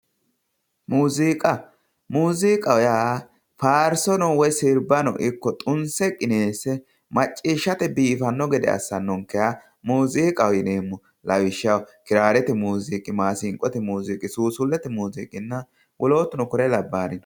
muuziiqa muziiqaho yaa faarsono ikko sirba tunse qineesse macciishshate biifanno gede assannonkeha muuziiqaho yineemmo lawishshaho giraarete muziiqi maasinqote muziiqi suusullete muziiqi wolootuno kure labbaari no.